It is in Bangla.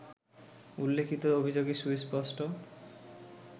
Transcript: উল্লেখিত অভিযোগে সুস্পষ্ট